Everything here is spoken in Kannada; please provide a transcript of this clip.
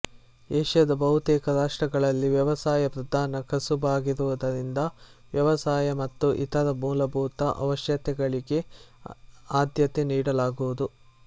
ಏಷ್ಯದ ಬಹುತೇಕ ರಾಷ್ಟ್ರಗಳಲ್ಲಿ ವ್ಯವಸಾಯ ಪ್ರಧಾನ ಕಸುಬಾಗಿರುವುದರಿಂದ ವ್ಯವಸಾಯ ಮತ್ತು ಇತರ ಮೂಲಭೂತ ಅವಶ್ಯಕತೆಗಳಿಗೆ ಆದ್ಯತೆ ನೀಡಲಾಗುವುದು